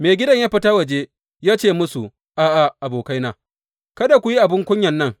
Maigidan ya fita waje ya ce musu, A’a, abokaina, kada ku yi abin kunyan nan.